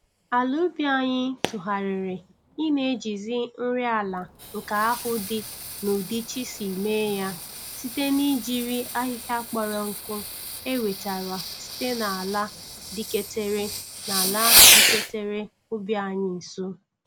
Ala ubi anyị tugharịrị i na-ejizi nri ala nke ahụ dị n'ụdị Chi si mee ya site n'ijiri ahihịa kpọrọ nkụ e wetara site n'ala diketere n'ala diketere ubi anyị nso.